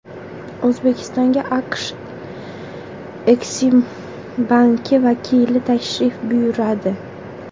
O‘zbekistonga AQSh Eksimbanki vakili tashrif buyuradi.